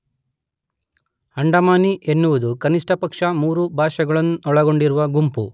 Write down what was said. ಅಂಡಮಾನಿ ಎನ್ನುವುದು ಕನಿಷ್ಠಪಕ್ಷ ಮೂರು ಭಾಷೆಗಳನ್ನೊಳಗೊಂಡಿರುವ ಗುಂಪು